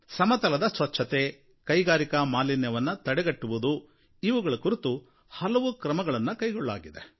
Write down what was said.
ಸಮತಲದ ಸ್ವಚ್ಛತೆ ಕೈಗಾರಿಕಾ ಮಾಲಿನ್ಯವನ್ನು ತಡೆಗಟ್ಟುವುದು ಇವುಗಳ ಕುರಿತು ಹಲವು ಕ್ರಮಗಳನ್ನು ಕೈಗೊಳ್ಳಲಾಗಿದೆ